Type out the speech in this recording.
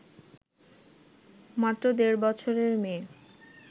মাত্র দেড় বছরের মেয়ে